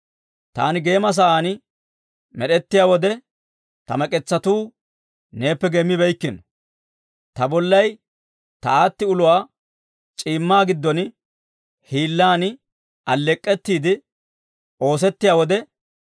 Taani geema sa'aan med'ettiyaa wode, ta mek'etsatuu neeppe geemmibeyikkino. Ta bollay ta aatti uluwaa c'iimmaa giddon hiillan alleek'k'ettiide oosettiyaa wode,